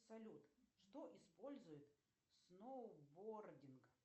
салют что использует сноубординг